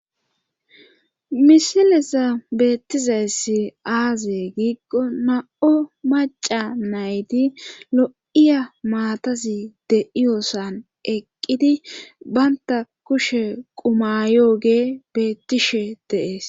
Misilesa beettizayssi aaze giikko na7o maca nayti lo7iya maatazi de7iyosan eqqidi baynta kushe qumayoge beettishe deees.